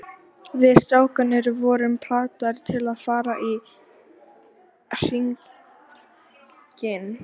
Við strákarnir vorum plataðir til að fara í hringinn.